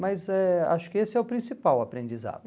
Mas eh acho que esse é o principal aprendizado.